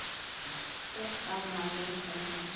Úr gamla genginu hans.